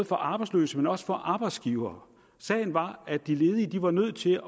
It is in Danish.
for arbejdsløse men også for arbejdsgivere sagen var at de ledige var nødt til